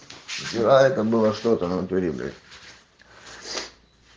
вчера это было что-то натуре блять